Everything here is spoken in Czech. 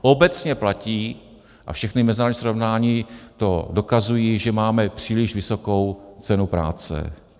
Obecně platí, a všechna mezinárodní srovnání to dokazují, že máme příliš vysokou cenu práce.